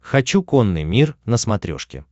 хочу конный мир на смотрешке